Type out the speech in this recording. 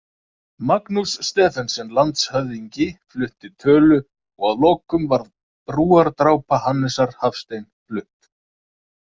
Magnús Stephensen landshöfðingi flutti tölu og að lokum var Brúardrápa Hannesar Hafstein flutt.